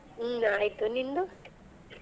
ಹ್ಮ್ ಆಯ್ತು ನಿಂದು?